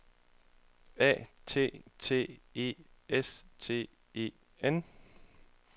A T T E S T E N